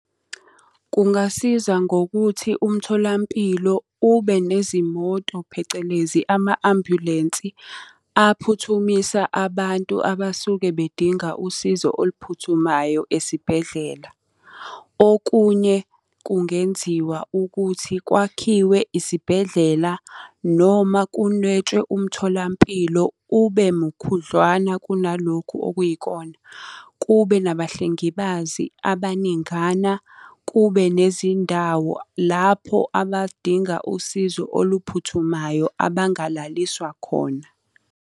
Kungasiza ngokuthi umtholampilo ube nezimoto, phecelezi, ama-ambulensi, aphuthumisa abantu abasuke bedinga usizo oluphuthumayo esibhedlela. Okunye kungenziwa ukuthi kwakhiwe isibhedlela noma kunwetshwe umtholampilo ube mukhudlwana kunalokhu okuyikona. Kube nabahlengibazi abaningana, kube nezindawo lapho abadinga usizo oluphuthumayo abangalaliswa khona.